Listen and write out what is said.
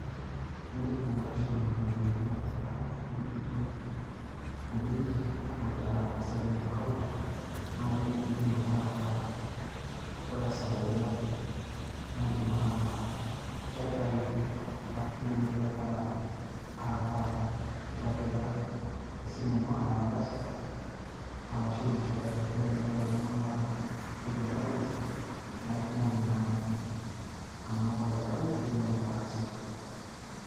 Idim nai atushuma nena ropiyaiani atipika ewuei nijo ebenki, kapik taa saving account ,nai nidim ake ataa ore esaa yoyote ,na idim ake aitayu, ashu idim ake ataa itipika esimu ino, ah M-PESA, arashu m-shwari, pe tenelo ake niata entoki emergency ,na itumoki naake anoto aitau, nitumoki ataasishore.